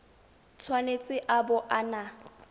tshwanetse a bo a na